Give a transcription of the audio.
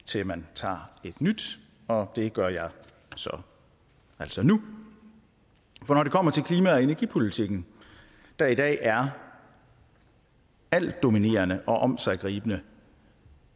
til man tager et nyt og det gør jeg altså nu for når det kommer til klima og energipolitikken der i dag er altdominerende og omsiggribende